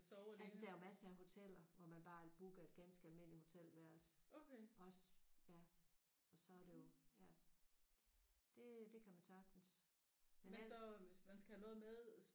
Altså der er jo masser af hoteller hvor man bare booker et ganske almindeligt hotelværelse. Også ja og så er det jo ja det det kan man sagtens. Men ellers